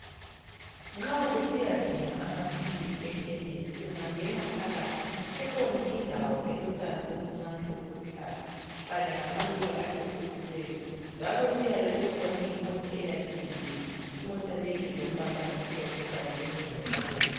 Nxa usiyadinga amaphilisi ekhemise ungangena phakathi kukhona indawo elotshani obuncane obuluhlaza kanye lamaluba acecisiweyo njalo kuyabe kukhona imota eyabe imile. Imota le ilombala omhlophe kanye lomzila obomvu.